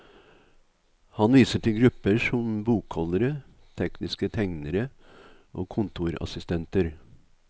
Han viser til grupper som bokholdere, tekniske tegnere og kontorassistenter.